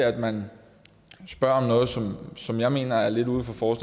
at man spørger om noget som som jeg mener er lidt uden for